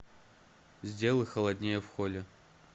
сделай холоднее в холле